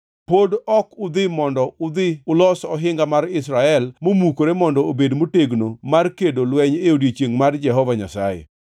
Pod ok udhi mondo udhi ulos ohinga mar Israel momukore mondo obed motegno mar kedo lweny e odiechiengʼ mar Jehova Nyasaye.